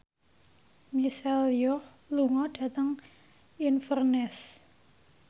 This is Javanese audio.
Michelle Yeoh lunga dhateng Inverness